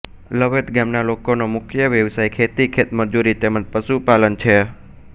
લવેદ ગામના લોકોનો મુખ્ય વ્યવસાય ખેતી ખેતમજૂરી તેમ જ પશુપાલન છે